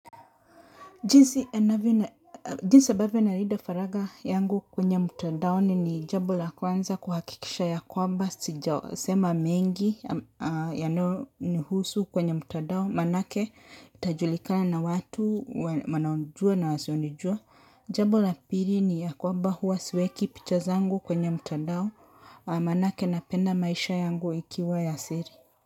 Jinsi ambayo nalida faraga yangu kwenye mutandaoni ni jambo la kwanza kuhakikisha yakwamba sijasema mengi yanao ni husu kwenye mutadao manake itajulikana na watu wanaonijua na wasionijua. Jambo la piri ni ya kwamba huwa siweki picha zangu kwenye mutandao manake napenda maisha yangu ikiwa ya siri.